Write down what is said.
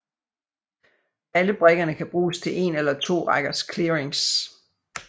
Alle brikkerne kan bruges til 1 eller 2 rækkers clearings